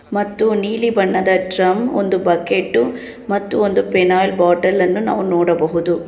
ಮತ್ತು ನೀಲಿ ಬಣ್ಣದ ಡ್ರಮ್ ಒಂದು ಬಕೆಟು ಮತ್ತು ಒಂದು ಪೆನಾಯಿಲ್ ಬೊಟಲ್ ಅನ್ನು ನಾವು ನೋಡಬಹುದು.